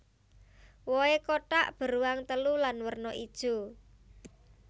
Wohé kotak beruang telu lan werna ijo